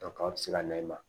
aw bɛ se ka na i ma